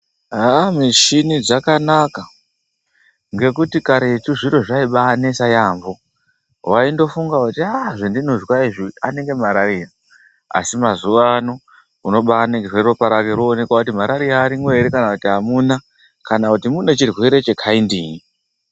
Haa mishini dzakanaka ngekuti karetu zviro zvaibainetsa yaampho, waindofunga kuti aaaa zvandinozwa izvi inenge marariya. Asi mazuwaano ubainingirwa ropa rako roonekwa kuti marariya irimo here kana kuti hamuna, kana kuti munee chirwere chekaindiyi.